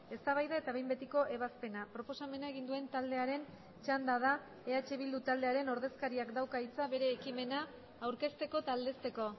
eztabaida eta behin betiko ebazpena proposamena egin duen taldearen txanda da eh bildu taldearen ordezkariak dauka hitza bere ekimena aurkezteko eta aldezteko